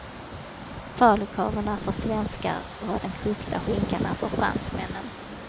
Falukorven är för svenskar vad den kokta skinkan är för fransmännen.